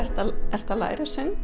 ertu að læra söng